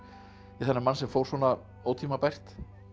þennan mann sem fór svona ótímabært